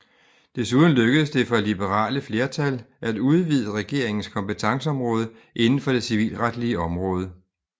Desuden lykkedes det for liberale flertal at udvide rigsdagens kompetenceområde inden for det civilretslige område